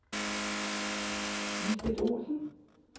Lisbeth Olsen